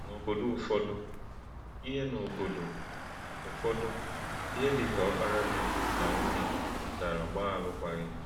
N’obodo ụfọdụ, ihe N’obodo ụfọdụ, ihe dịka ọkara di na nwunye mechara gbaa alụkwaghịm.